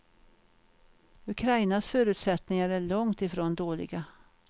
Ukrainas förutsättningar är långt ifrån dåliga.